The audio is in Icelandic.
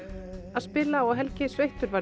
að spila og Helgi sveittur var